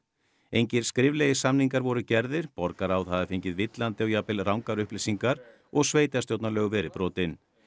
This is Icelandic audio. engir skriflegir samningar voru gerðir borgarráð hafi fengið villandi og jafnvel rangar upplýsingar og sveitarstjórnarlög verið brotin